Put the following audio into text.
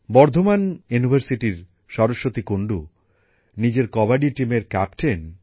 বর্ধমান বিশ্ববিদ্যালয়ের সরস্বতী কুন্ডু নিজের কবাডি টিমের ক্যাপ্টেন